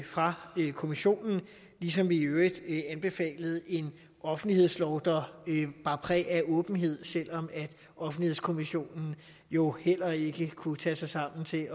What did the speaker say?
fra kommissionen ligesom vi i øvrigt anbefalede en offentlighedslov der bar præg af åbenhed selv om offentlighedskommissionen jo heller ikke kunne tage sig sammen til